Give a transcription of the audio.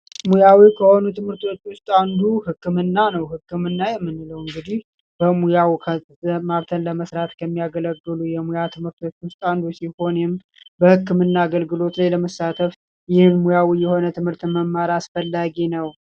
ከትምህርቶች አንዱ ህክምና ነው ህክምና እንግዲህ በሙያውን ለመስራት ከሚያገለግሉ የሙያ ትምህር ሲሆን በህክምና አገልግሎት የሆነ ትምህርት መማር አስፈላጊ ነው